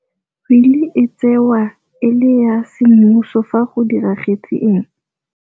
Wili e tsewa e le ya semmuso fa go diragetse eng?